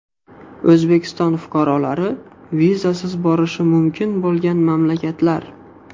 O‘zbekiston fuqarolari vizasiz borishi mumkin bo‘lgan mamlakatlar.